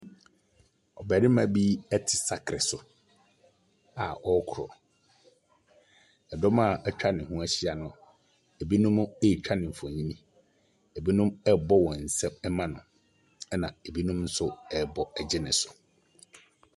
Ɔbarima bi ɛte sakre so a ɔrekɔ. Ɛdɔm a ɛtwa ne ho ɛhyia no, ebinom ɛretwa no nfonni, ebinom rebɔ wɔn nsam ɛma no, ɛna ebinom nso ɛrebɔ gye no so.